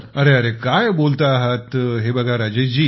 अरे रे काय बोलता आहेत हे बघा राजेश जी